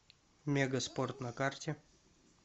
мегаспорт на карте